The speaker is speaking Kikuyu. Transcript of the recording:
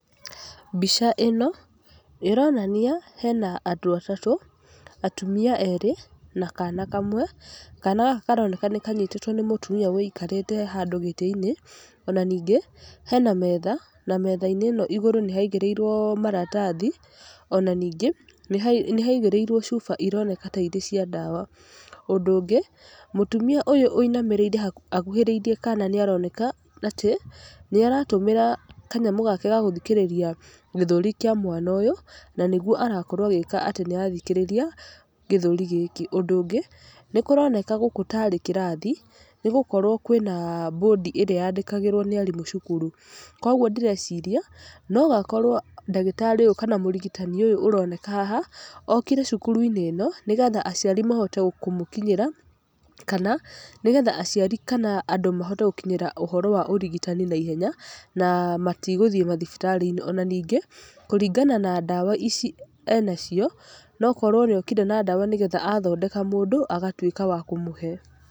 Mbica ĩno, ĩronania hee na andũ atatũ, atumia erĩ na kana kamwe. Kana gaka karoneka nĩ kanyitĩtwo nĩ mũtumia ũikarĩte handũ gĩtĩ-inĩ. Ona ningĩ hena metha na metha-inĩ ĩno igũrũ nĩ haigĩrĩirwo maratathi, ona ningĩ nĩ haigĩrĩirwo cuba iria ironeka ta arĩ cia ndawa. Ũndũ ũngĩ mũtumia ũyũ wũinamĩrĩire akuhĩrĩirie kana nĩ aroneka atĩ, nĩ aratũmĩra kanyamũ gake ga gũthikĩrĩria gĩthũri kia mwana ũyũ, na nĩguo arakorwo agĩka atĩ nĩ arathikĩrĩria gĩthũri gĩkĩ. Ũndũ ũngĩ, nĩ kũroneka gũkũ ta arĩ kĩrathi tondũ nĩgũkorwo kwĩna bondi ĩrĩa yandĩkagĩrwo nĩ mwarimũ cukuru. Koguo ndĩreciria no akorwo ndagĩtarĩ ũyũ kana mũrigitani ũyũ ũrona haha, okire cukuru-inĩ ĩno nĩgetha aciari mahote kũmũkinyĩra, kana nĩgetha aciari kana andũ mahote gũkĩnyĩra ũhoro wa ũrigitani naihenya na matagũthiĩ thibitarĩ-inĩ. Ona ningĩ kũringana na ndawa ici enacio, no akorwo nĩ okire na ndawa nĩgetha athondeka mũndũ agatuĩka wa kũmũhe.